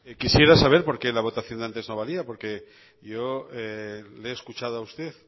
quisiera saber por qué la votación de antes no valía porque yo le he escuchado a usted